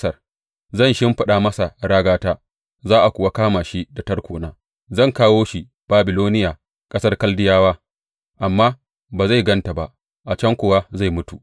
Zan shimfiɗa masa ragata, za a kuwa kama shi da tarkona; zan kawo shi Babiloniya, ƙasar Kaldiyawa, amma ba zai gan ta ba, a can kuwa zai mutu.